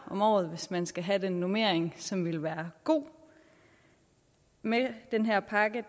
om året hvis man skal have den normering som ville være god med den her pakke